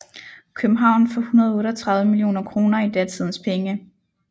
København for 138 millioner kroner i datidens penge